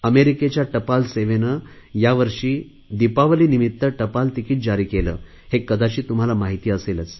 अमेरिकेच्या टपाल सेवेने यावर्षी दिपावलीनिमित्त टपाल तिकीट जारी केले हे कदाचित तुम्हाला माहिती असेल